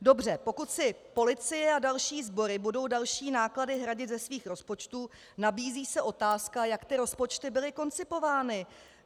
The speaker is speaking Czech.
Dobře, pokud si policie a další sbory budou další náklady hradit ze svých rozpočtů, nabízí se otázka, jak ty rozpočty byly koncipovány.